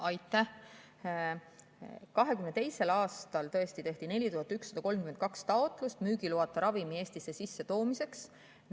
2022. aastal tõesti tehti 4132 taotlust müügiloata ravimite Eestisse sissetoomiseks.